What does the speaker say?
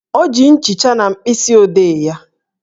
O ji nchicha na mkpịsị odee ya?